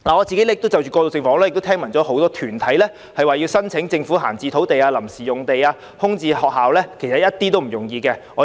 就着過渡性房屋，我知道很多團體希望申請政府的閒置土地、臨時用地或空置校舍作此用途，但其實絕不是易事。